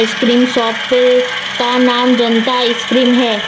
Cream shop पे का नाम जनता आइसक्रीम है।